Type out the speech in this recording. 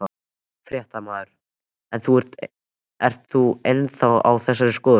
Fréttamaður: En ert þú ennþá á þessari skoðun?